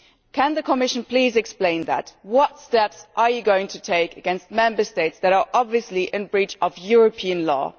Can the Commission please explain that what steps are you going to take against Member States that are obviously in breach of European law?